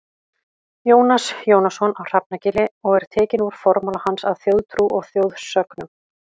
Jónas Jónasson á Hrafnagili og er tekinn úr formála hans að Þjóðtrú og þjóðsögnum.